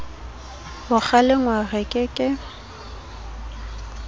ho kgalengwa re ke ke